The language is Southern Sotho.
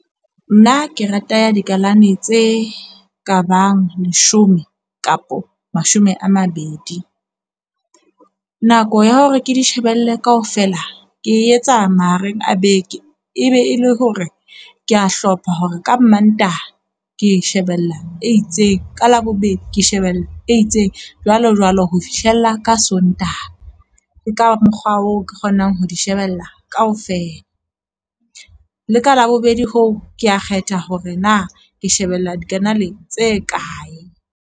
Nna ke rata ya dikalane tse kabang leshome kapa mashome a mabedi. Nako ya hore ke dishebelle kaofela, ke etsa mahareng a beke, e be e le hore ke a hlopha hore ka Mantaha ke shebella e itseng. Ka Labobedi ke shebella e itseng, jwalo jwalo ho fihlella ka Sontaha. E ka mokgwa oo ke kgonang ho di shebella kaofela. Le ka Labobedi hoo ke a kgetha hore na ke shebella dikanale tse kae.